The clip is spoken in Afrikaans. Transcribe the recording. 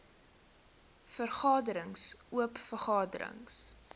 vergaderings oop vergaderings